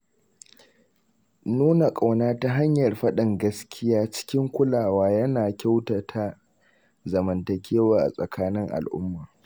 Nuna ƙauna ta hanyar faɗin gaskiya cikin kulawa yana kyautata zamantakewa a tsakanin al'umma.